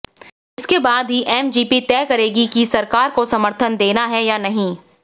इसके बाद ही एमजीपी तय करेगी कि सरकार को समर्थन देना है या नहीं